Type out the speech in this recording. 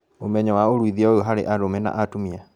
Ũmenyo wa ũruithia ũyũ harĩ arũme na atumia